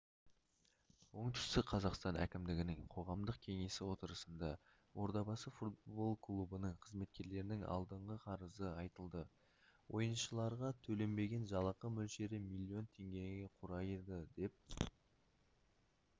оңтүстік қазақстан әкімдігінің қоғамдық кеңесі отырысында ордабасы футбол клубының қызметкерлерінің алдындағы қарызы айтылды ойыншыларға төленбеген жалақы мөлшері миллион теңгені құрады деп